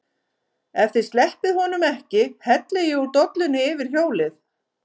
EF ÞIÐ SLEPPIÐ HONUM EKKI HELLI ÉG ÚR DOLLUNNI YFIR HJÓLIÐ!